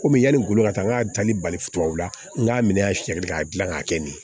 Komi yani n ko ka taa n ka danni bali tubabuw la n k'a minɛ a siyan k'a dilan k'a kɛ nin ye